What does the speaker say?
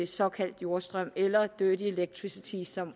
såkaldt jordstrøm eller dirty electricity som